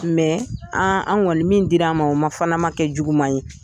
an an kɔni min dir'an ma o fana ma kɛ juguman ye.